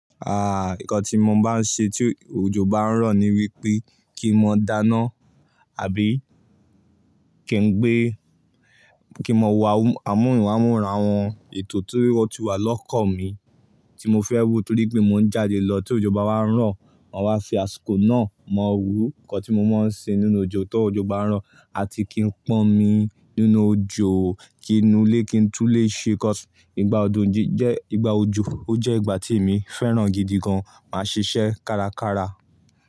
Ah! Nǹkan tí mo bá n ṣe tí òjò bá ń rọ̀ ni wípé kí n máa dáná àbí kí n gbé, kí n máa wọ amóhùn amóra wọn ètò tí wọ́n ti wà lọ́kàn mi tí mo fẹ́ wò torí pé mò ń jáde lọ tí òjò bá wá ń rọ̀, wọ́n máa fi àsìkò náà mọ wòó. Nǹkan tí mo máa ń ṣe nínú òjò tó òjò bá ń rọ̀ àti kí n pọn mi nínú òjò, kí inú ilé kí n tún lè ṣe cause. Ìgbà òjò jí jẹ́ ìgbà òjò, ó jẹ́ ìgbà tí èmi fẹ́ràn gidi gan máa ṣiṣẹ́ kárakára.